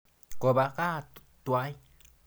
Kopa kaa twai.